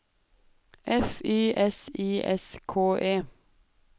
F Y S I S K E